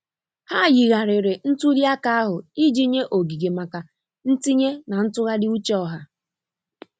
Ha yigharịrị ntuli aka ahụ iji nye oge maka ntinye na ntụgharị uche ọha.